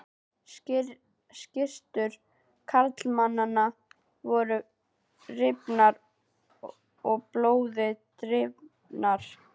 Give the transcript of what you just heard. Skyrtur karlmannanna voru rifnar og blóði drifnar.